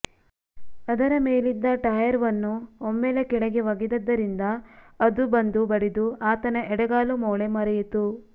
ಅದರ ಮೇಲಿದ್ದ ಟಾಯರ್ವನ್ನು ಒಮ್ಮೆಲೆ ಕೆಳಗೆ ಒಗೆದಿದ್ದರಿಂದ ಅದು ಬಂದು ಬಡಿದು ಆತನ ಎಡಗಾಲು ಮೋಳೆ ಮರಿಯಿತು